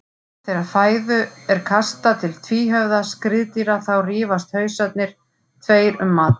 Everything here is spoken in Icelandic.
Þegar fæðu er kastað til tvíhöfða skriðdýra þá rífast hausarnir tveir um matinn.